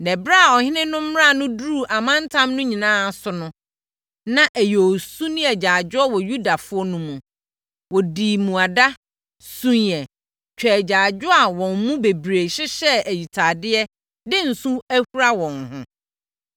Na ɛberɛ a ɔhene no mmara no duruu amantam no nyinaa so no, na ɛyɛ osu ne agyaadwoɔ wɔ Yudafoɔ no mu. Wɔdii mmuada, suiɛ, twaa agyaadwoɔ a wɔn mu bebree hyehyɛ ayitadeɛ de nsõ ahura wɔn ho.